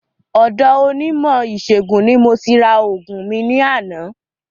Ọ̀do onímò ìsẹ̀gùn ni mo ti ra ògùn mi ní àná